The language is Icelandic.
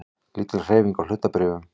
Lítil hreyfing á hlutabréfum